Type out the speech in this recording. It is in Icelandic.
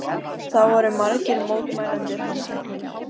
Þá voru margir mótmælendur handteknir